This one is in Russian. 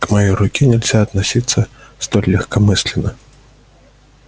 к моей руке нельзя относиться столь легкомысленно